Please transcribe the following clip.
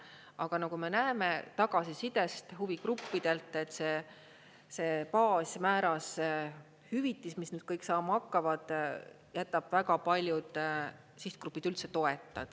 Aga nagu me näeme tagasisidest huvigruppidelt, et see baasmääras hüvitis, mis nüüd kõik saama hakkavad, jätab väga paljud sihtgrupid üldse toeta.